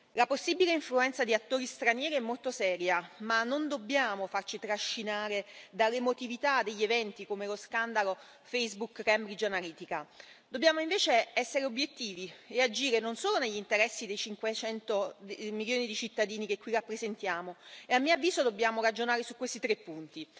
La possibile influenza di attori stranieri è molto seria ma non dobbiamo farci trascinare dall'emotività degli eventi come lo scandalo Facebook Cambridge Analytica. Dobbiamo invece essere obiettivi e agire non solo negli interessi dei 500 milioni di cittadini che qui rappresentiamo e, a mio avviso, dobbiamo ragionare su questi tre punti